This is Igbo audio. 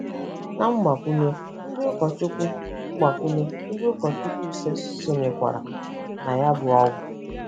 Na Mgbakwunye ndị ụkọchukwu Mgbakwunye ndị ụkọchukwu ise sonyekwara na ya bụ ọgwụ